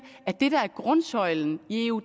at det der er grundsøjlen i eu